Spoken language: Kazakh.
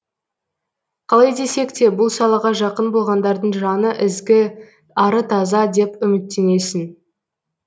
қалай десек те бұл салаға жақын болғандардың жаны ізгі ары таза деп үміттенесің